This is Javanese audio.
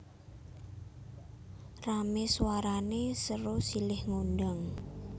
Ramé swarané sero silih ngundang